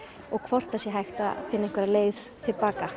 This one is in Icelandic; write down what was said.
og hvort það sé hægt að finna einhverja leið til baka